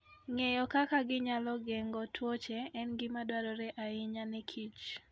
Ng'eyo kaka ginyalo geng'o tuoche en gima dwarore ahinya ne kich